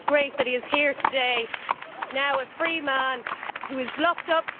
It is great that he is here today, now a free man, who was locked up.